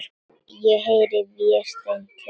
Ég heyri Véstein kjökra.